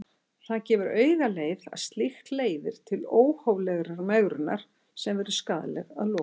Það gefur augaleið að slíkt leiðir til óhóflegrar megrunar sem verður skaðleg að lokum.